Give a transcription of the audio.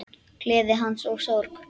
Gleði hans og sorg.